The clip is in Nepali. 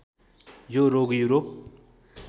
यो रोग युरोप